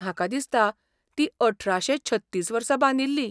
म्हाका दिसता, ती अठराशे छत्तीस वर्सा बांदिल्ली.